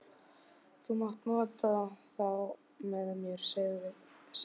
Þú mátt nota þá með mér sagði Lilla.